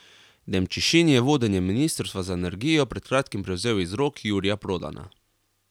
Demčišin je vodenje ministrstva za energijo pred kratkim prevzel iz rok Jurija Prodana.